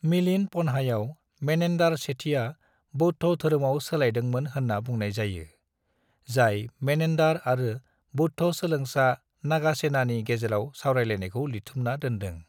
मिलिन्द पन्हायाव मेनेन्डार सेथिया बौद्ध धोरोमाव सोलायदोंमोन होन्ना बुंनाय जायो, जाय मेनेन्डार आरो बौद्ध सोलोंसा नागासेनानि गेजेराव सावरायलायनायखौ लिरथुमना दोनदों।